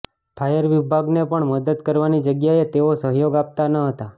fire વિભાગને પણ મદદ કરવાની જગ્યાએ તેઓ સહયોગ આપતા ન હતા